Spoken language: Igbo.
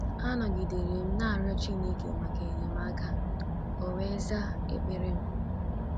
“ Anọgidere m na - arịọ Chineke maka enyemaka, o wee zaa ekpere m. ””